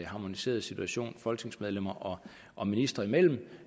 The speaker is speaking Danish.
harmoniseret situation folketingsmedlemmer og ministre imellem